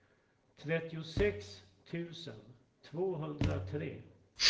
trettiosex tusen tvåhundratre